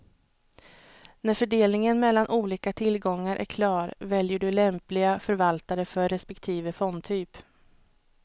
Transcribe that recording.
När fördelningen mellan olika tillgångar är klar väljer du lämpliga förvaltare för respektive fondtyp.